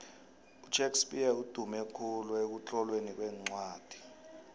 ushakes spear udumekhulu ekutlolweni kwencwani